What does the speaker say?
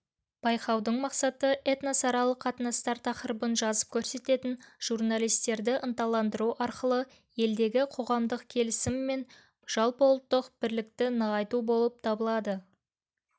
байқаудың мақсаты этносаралық қатынастар тақырыбын жазып көрсететін журналистерді ынталандыру арқылы елдегі қоғамдық келісім мен жалпыұлттық бірлікті нығайту болып табылады